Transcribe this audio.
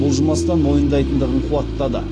бұлжымастан мойындайтындығын қуаттады